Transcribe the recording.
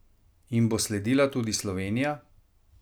Jim bo sledila tudi Slovenija?